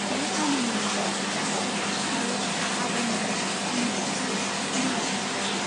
बे आनैनि मुङा बिदांसि आरो आब'नि मुङा सुमिला , सुमिला नार्जारी।